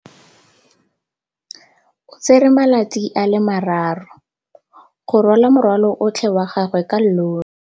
O tsere malatsi a le marraro go rwala morwalo otlhe wa gagwe ka llori.